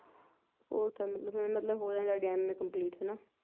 fourth ਆ ਮਤਲਬ ਹੁੰ ਮਤਲਬ ਹੋ ਜਾਣੀ ਤੁਹਾਡੀ M. A complete